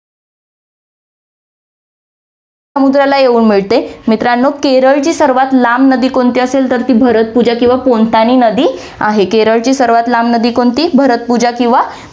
समुद्राला येऊन मिळते. मित्रांनो, केरळची सर्वात लांब नदी कोणती असेल, तर ती भरतपूजा किंवा पोनतानी नदी आहे. केरळची सर्वात लांब नदी कोणती भरतपूजा किंवा पो~